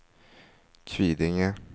Kvidinge